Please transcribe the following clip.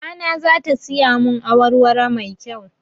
Mamana za ta siya mun awar waro mai kyau